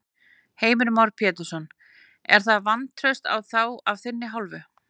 Heimir Már Pétursson: Er það vantraust á þá af þinni hálfu?